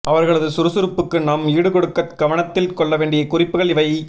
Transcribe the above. அவர்களது சுறுசுறுப்புக்கு நாம் ஈடுகொடுக்கக் கவனத்தில் கொள்ள வேண்டிய குறிப்புகள் இவை